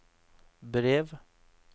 brev